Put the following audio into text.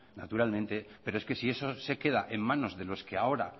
naturalmente pero es que si eso se queda en manos de los que ahora